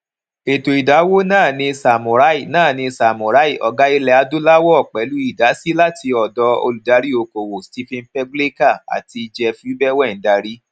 ètò ìdáwó náà ní samurai náà ní samurai ọgá ilẹ adúláwọ pèlú idasi láti òdò olùdarí okòwò stephen pagluica àti jeff ubbwn darí